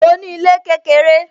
Mo ní ilé kékeré